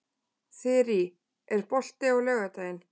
Þyrí, er bolti á laugardaginn?